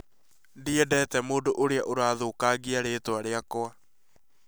Ndiendete mũndũ ũrĩa ũrathũkagia rĩĩtwa rĩakwa